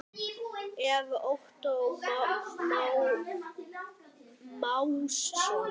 eftir Ottó Másson